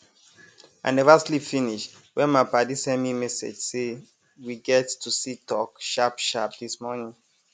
i neva sleep finis wen my padi send mi message say we get to see talk sharp sharp dis morning